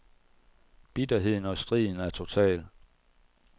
Bitterheden og striden er total.